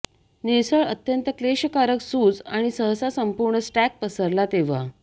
निळसर अत्यंत क्लेशकारक सूज आणि सहसा संपूर्ण स्टॅक पसरला तेव्हा